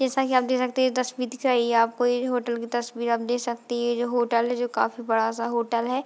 जैसा की आप देख सकते हैं ये तस्वीर दिख रही है आपको एक होटल की तस्वीर आप देख सकते हैं ये जो होटल है जो काफी बड़ा सा होटल है |